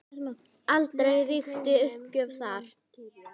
Aldrei ríkti uppgjöf þar.